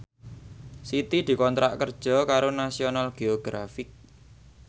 Siti dikontrak kerja karo National Geographic